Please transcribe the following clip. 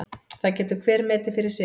Það getur hver metið fyrir sig.